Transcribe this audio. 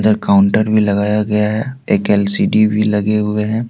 Counter में लगाया गया है। एक एल_सी_डी भी लगे हुए हैं।